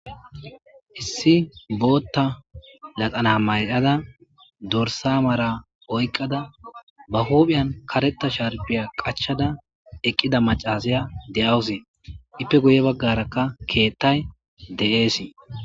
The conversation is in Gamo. Hissi bootta laxana maylada dorsa mara oykqada ba huuphiyan karetta sharpiya qachada eqqida macasaya de'awuse ippe guye baggarakka keettay de'eesi